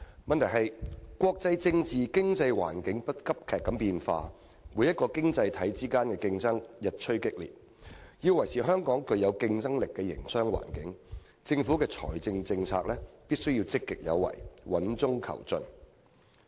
問題是國際政治和經濟環境急劇變化、各個經濟體之間的競爭日趨激烈，要維持香港具有競爭力的營商環境，政府的財政政策必須積極有為、穩中求進。